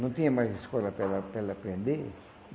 Não tinha mais escola para ela para ela aprender.